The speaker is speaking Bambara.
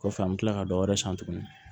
Kɔfɛ an bɛ tila ka dɔ wɛrɛ san tuguni